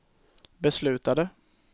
beslutade